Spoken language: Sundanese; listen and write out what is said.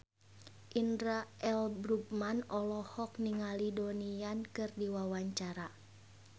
Indra L. Bruggman olohok ningali Donnie Yan keur diwawancara